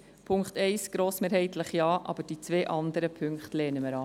Zu Punkt 1 grossmehrheitlich Ja, aber die beiden anderen Punkte lehnen wir ab.